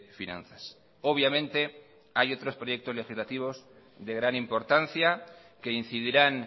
finanzas obviamente hay otros proyectos legislativos de gran importancia que incidirán